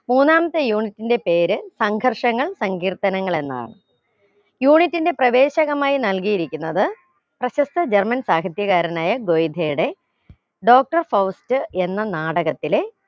മൂന്നാമത്തെ unit ന്റെ പേര് സംഘർഷങ്ങൾ സങ്കീർത്തനങ്ങൾ എന്നാണ് unit ന്റെ പ്രവേശകമായി നൽകിയിരിക്കുന്നത് പ്രശസ്ത german സാഹിത്യകാരനായ ഗോയിധ്യയുടെ doctor ഫൗസ്റ്റ് എന്ന നാടകത്തിലെ